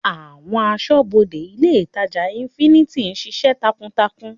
Àwọn asọ́bodè ilé ìtàjà infinity ń ṣiṣẹ́ takuntakun.